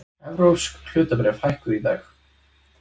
Evrópsk hlutabréf hækkuðu í dag